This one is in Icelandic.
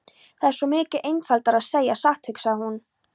Það er svo miklu einfaldara að segja satt, hugsaði hún.